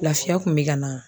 Lafiya kun bɛ ka na?